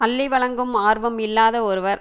அள்ளி வழங்கும் ஆர்வம் இல்லாத ஒருவர்